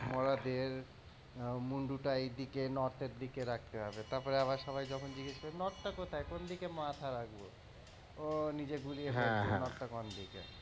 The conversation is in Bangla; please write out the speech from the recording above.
মরাদের মুন্ডটা এইদিকে north এর দিকে রাখতে হবে, তারপরে আবার সবাই যখন জিজ্ঞাসা করবে north টা কোথায় কোন দিকে মাথা রাখবো, ও নিজে গুলিয়ে ফেলেছি north টা কোন দিকে।